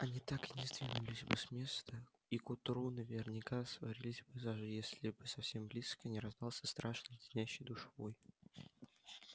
они так и не сдвинулись бы с места и к утру наверняка сварились бы заживо если бы совсем близко не раздался страшный леденящий душу вой